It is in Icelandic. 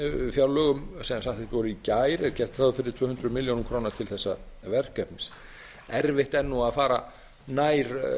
fjárlögum sem samþykkt voru í gær er gert ráð fyrir tvö hundruð milljóna króna til þessa verkefnis erfitt er að fara nær